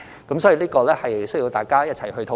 因此，這需要大家一起討論。